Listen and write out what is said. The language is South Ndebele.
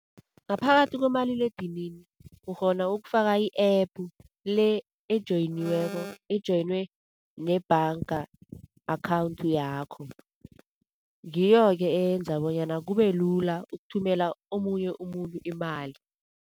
Ngaphakathi komaliledinini ukghona ukufaka i-app, le ejoyiniweko ejoyinwe nebhanga, account yakho. Ngiyo-ke eyenza bonyana kube lula ukuthumela omunye umuntu imali.